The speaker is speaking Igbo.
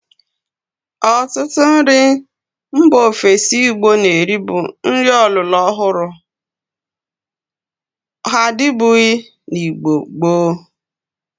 Otutu nri mba ofesi Igbo na-eri bu nri ọlụrọ ọhuru; ha adibughi na Igbo gboo.